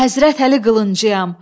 Həzrət Əli qılıncıyam.